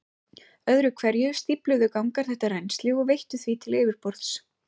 Öðru hverju stífluðu gangar þetta rennsli og veittu því til yfirborðs.